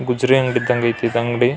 ಗುಜರಿ ಅಂಗಡಿ ಇದ್ದಂಗೆ ಐತೆ ಈ ಅಂಗಡಿ. --